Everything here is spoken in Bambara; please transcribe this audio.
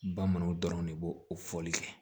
Bamananw dɔrɔn de b'o o fɔli kɛ